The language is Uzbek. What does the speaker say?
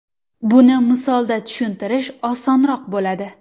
Buni misolda tushuntirish osonroq bo‘ladi.